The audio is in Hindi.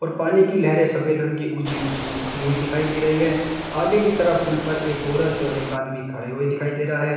पानी की लहरें सफेद रंग की ऊंची ऊंची उड़ती हुई दिखाई दे रही है आगे की तरफ पुल पर एक औरत और एक आदमी खड़े हुए दिखाई दे रहा है।